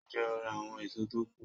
Ń jẹ́ ó ra àwọn èso tó kù